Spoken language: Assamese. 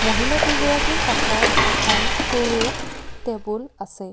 মহিলা কেইগৰাকী কাষত এখন সৰু টেবুল আছে।